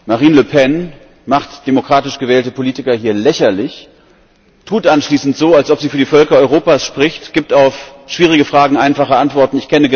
Marine Le Pen macht demokratisch gewählte Politiker hier lächerlich, tut anschließend so, als ob sie für die Völker Europas spricht, gibt auf schwierige Fragen einfache Antworten.